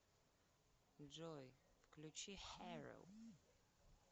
джой включи хероу